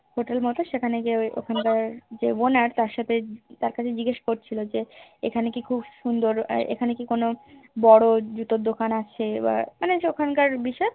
Hotel মতো সেখানে নিয়ে ওখানকার যে Owner তার সাথে তাকে জিগেস করছিলো যে এখানে কি খুব সুন্দর এখানে কি কোনো বোরো জুতোর দোকান আছেই মানে যে ওখানকার বিখ্যাত